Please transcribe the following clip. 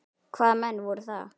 Hvaða menn voru það?